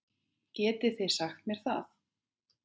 Getið þið sagt mér það?